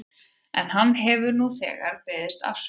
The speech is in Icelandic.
En hann hefur nú þegar beðist afsökunar.